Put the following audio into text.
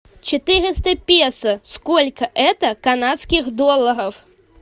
четыреста песо сколько это канадских долларов